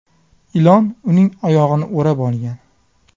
Ilon uning oyog‘ini o‘rab olgan.